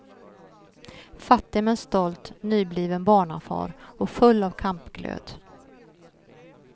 Fattig men stolt, nybliven barnafar och full av kampglöd.